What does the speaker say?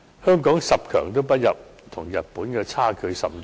香港十強不入，與日本的差距甚大。